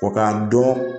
Ko k'a dɔn